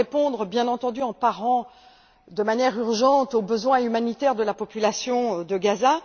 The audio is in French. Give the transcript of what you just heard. Elle doit répondre, bien entendu, en parant de manière urgente aux besoins humanitaires de la population de Gaza.